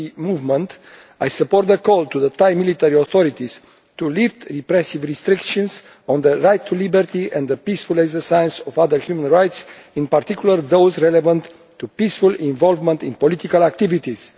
Movement, I support the call on the Thai military authorities to lift repressive restrictions on the right to liberty and the peaceful exercise of other human rights, in particular those relevant to peaceful involvement in political activities.